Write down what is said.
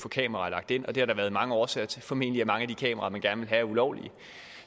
kameraer lagt ind og det har der været mange årsager til formentlig at mange af de kameraer man gerne vil have er ulovlige